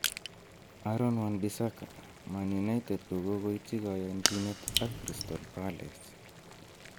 Aaron Wan-Bissaka: Man United kogoityi koyonchinet ak Crystal Palace